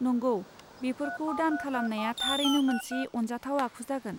नंगौ, बेफोरखौ दान खालामनाया थारैनो मोनसे अनजाथाव आखु जागोन।